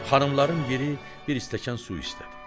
Xanımların biri bir stəkan su istədi.